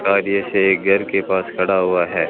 कार्य से एक घर के पास खड़ा हुआ है।